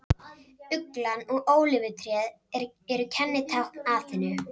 Uglan og ólífutréð eru kennitákn Aþenu.